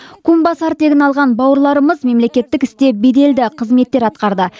кумбасар тегін алған бауырларымыз мемлекеттік істе беделді қызметтер атқарды